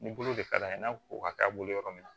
Ni bolo de ka d'a ye n'a ko ka k'a bolo yɔrɔ min na